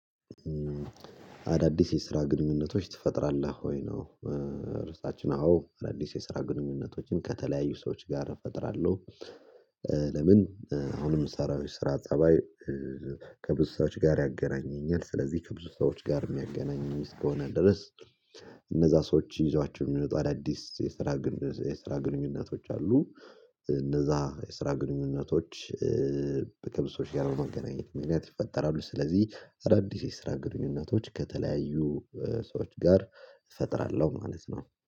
አዳዲስ የስራ ግንኙነቶች ትፈጥራለህ ወይ ነው? ርዕሳችን አዎ አዳዲስ የስራ ግንኙነቶችን ከተለያዩ ሰዎች ጋር እፈጥራለሁ። ለምን አሁንም የምሰራው የስራ ጠባይ። ከብዙ ሰዎች ጋር ያገናኘኛል ስለዚህ ከብዙ ሰዎች ጋር የሚያገናኝም እስከሆነ ድረስ። እነዛ ሰዎች ይዟቸው የሚወጣ አዳዲስ የስራ የስራ ግንኙነቶች አሉ። እነዛ የስራ ግንኙነቶች በከብሶች ጋራ የመገናኘት ምክንያት ይፈጠራሉ። ስለዚህ አራዲስ የስራ ግንኙነቶች ከተለያዩ ሰዎች ጋር እፈጥራለሁ ማለት ነው